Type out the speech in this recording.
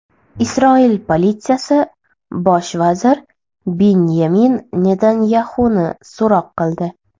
Isroil politsiyasi bosh vazir Binyamin Netanyaxuni so‘roq qildi.